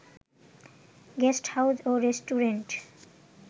guest house ও restaurant